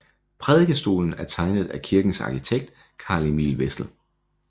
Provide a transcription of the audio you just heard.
Prædikestolen er tegnet af kirkens arkitekt Carl Emil Wessel